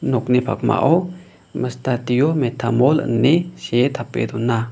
nokni pakmao studio metamor ine see tape dona.